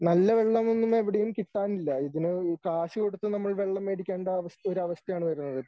നല്ല വെള്ളം ഒന്നും എവിടെയും കിട്ടാനില്ല ഇതിന് കാശുകൊടുത്തു നമ്മൾ വെള്ളം മേടിക്കേണ്ട അവസ്ഥ ഒര അവസ്ഥയാണ് വരുന്നത്